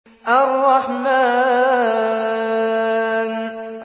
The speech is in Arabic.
الرَّحْمَٰنُ